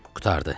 Qurtardı.